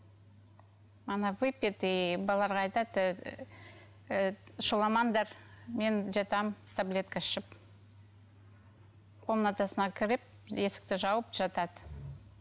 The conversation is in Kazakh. оны выпит и балаларға айтады ііі шуламаңдар мен жатамын таблетка ішіп комнатасына кіріп есікті жауып жатады